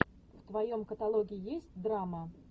в твоем каталоге есть драма